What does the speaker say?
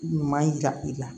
Ɲuman yira i la